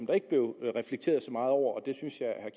der ikke blev reflekteret så meget over og det synes jeg at